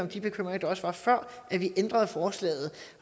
af de bekymringer der også var før vi ændrede forslaget